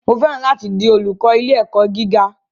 Mo fẹ́ràn láti di olúkọ̀ ilé-ẹ̀kọ́ gíga.